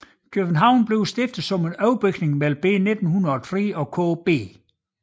København bliver stiftet som en overbygning mellem B 1903 og KB